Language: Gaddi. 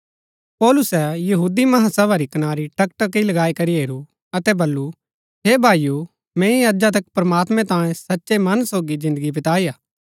पौलुसै महासभा री कनारी टकटकी लगाई करी हेरू अतै बल्लू हे भाईओ मैंई अजा तक प्रमात्मैं तांयें सचै मन सोगी जिन्दगी बिताई हा